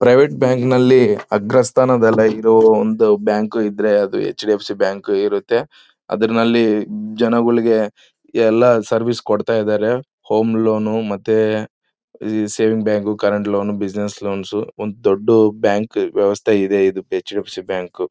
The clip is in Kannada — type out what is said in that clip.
ಪ್ರೈವೇಟ್ ಬ್ಯಾಂಕಿನಲ್ಲಿ ಅಗ್ರಸ್ಥಾನ ಅದೆಲ್ಲ ಇರೋ ಒಂದು ಬ್ಯಾಂಕ್ ಇದ್ರೆ ಅದು ಹೆಚ್.ಡಿ.ಎಫ್.ಸಿ. ಬ್ಯಾಂಕ್ ಇರುತ್ತೆ. ಅದ್ರಲ್ಲಿ ಜನಗಳಿಗೆ ಎಲ್ಲಾ ಸರ್ವಿಸ್ ಕೊಡತಾ ಇದ್ದಾರೆ. ಹೋಮ್ ಲೋನ್ ಮತ್ತೆ saving bank current loan business loans ಒಂದು ದೊಡ್ಡ ಬ್ಯಾಂಕ್ ವ್ಯವಸ್ಥೆಯಿದೆ ಇದು ಹೆಚ್.ಡಿ.ಎಫ್.ಸಿ. ಬ್ಯಾಂಕ್ .